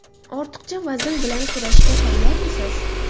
Ortiqcha vazn bilan kurashga tayyormisiz?